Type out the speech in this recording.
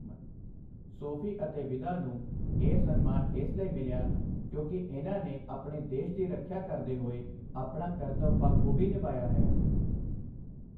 ਸੋਫ਼ੀ ਅਤੇ ਵਿਦਾ ਨੂੰ ਇਹ ਸਨਮਾਨ ਇਸ ਲਈ ਮਿਲਿਆ, ਕਿਉਕਿ ਇਨ੍ਹਾਂ ਨੇ ਆਪਣੇ ਦੇਸ਼ ਦੀ ਰੱਖਿਆ ਕਰਦੇ ਹੋਏ ਆਪਣਾ ਕਰਤੱਵ ਬਾਖੂਬੀ ਨਿਭਾਇਆ ਹੈ।